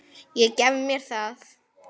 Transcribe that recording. Ég gef mér það.